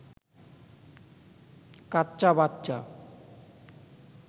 কাচ্চা বাচ্চা